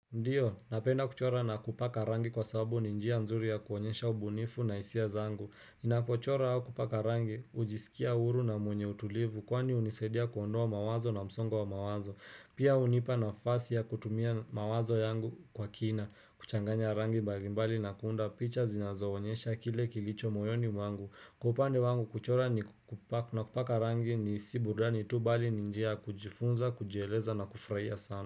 Ndiyo, napenda kuchora na kupaka rangi kwa sababu ni njia nzuri ya kuonyesha ubunifu na hisia zangu. Ninapochora au kupaka rangi, hujisikia huru na mwenye utulivu kwani hunisaidia kuondoa mawazo na msongo wa mawazo. Pia hunipa nafasi ya kutumia mawazo yangu kwa kina, kuchanganya rangi mbalimbali na kuunda picha zinazoonyesha kile kilicho moyoni mwangu Kwa upande wangu, kuchora na kupaka rangi ni si burudani tu, bali ni njia ya kujifunza, kujieleza na kufurahia sana.